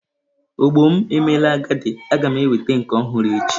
Ogbo m emela agadi, a ga m enweta nke ọhụrụ echi.